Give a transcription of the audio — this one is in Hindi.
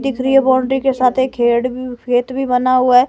दिख रही है बाउंड्री के साथ एक खेड़ भी खेत भी बना हुआ है।